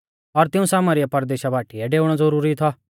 और तिऊं सामरीया परदेशा बाटीऐ डेऊणौ ज़ुरूरी थौ